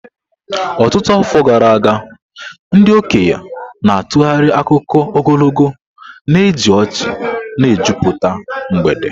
Ọtụtụ afọ gara aga, ndị okenye na-atụgharị akụkọ ogologo, na-eji ọchị na-ejupụta mgbede.